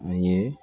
A ye